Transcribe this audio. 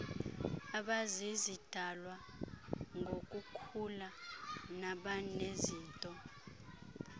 abazizidalwa ngokukhula nabanezinto